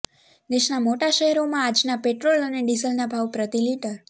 દેશના મોટા શહેરોમાં આજના પેટ્રોલ અને ડીઝલના ભાવ પ્રતિ લિટર